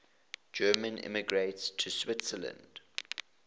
german immigrants to switzerland